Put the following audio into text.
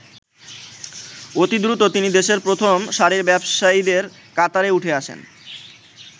অতিদ্রুত তিনি দেশের প্রথম সারির ব্যবসায়ীদের কাতারে উঠে আসেন।